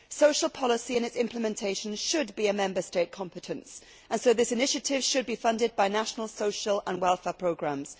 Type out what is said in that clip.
Social policy and its implementation should be a Member State competence and so this initiative should be funded by national, social and welfare programmes.